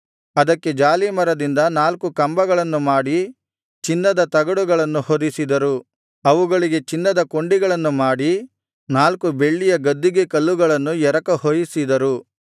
ಅದಕ್ಕೆ ಜಾಲೀಮರದಿಂದ ನಾಲ್ಕು ಕಂಬಗಳನ್ನು ಮಾಡಿ ಚಿನ್ನದ ತಗಡುಗಳನ್ನು ಹೊದಿಸಿದರು ಅವುಗಳಿಗೆ ಚಿನ್ನದ ಕೊಂಡಿಗಳನ್ನು ಮಾಡಿ ನಾಲ್ಕು ಬೆಳ್ಳಿಯ ಗದ್ದಿಗೆಕಲ್ಲುಗಳನ್ನು ಎರಕಹೊಯಿಸಿದರು